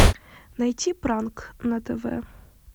найти пранк на тв